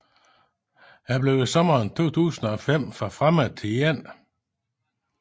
Han blev i sommeren 2005 forfremmet til 1